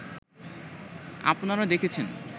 আপনারা দেখেছেন